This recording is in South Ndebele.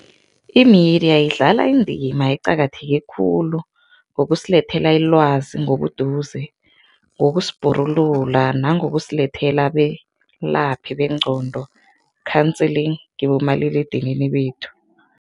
I-media idlala indima eqakatheke khulu ngokusilethela ilwazi ngobuduze, ngokusibhorulula nangokusilethela abelaphi bengqondo, counseling, kibomaliledinini bethu.